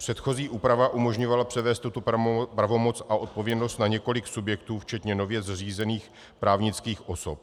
Předchozí úprava umožňovala převést tuto pravomoc a odpovědnost na několik subjektů včetně nově zřízených právnických osob.